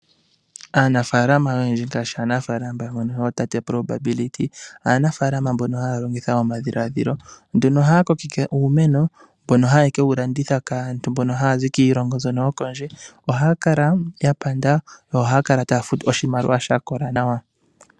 Aanafalama oyendji ngaashi aanafalama yootate Probability mbono haya longitha omadhilaadhilo ohaya kokeke uumeno. Ohaye kewulanditha kaantu mbono haya zi kiilongo yokondje. Ohaya kala yapanda nohaya futwa oshimaliwa shakola nawa.